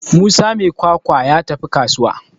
Musa mai kwakwa ya tafi kasuwa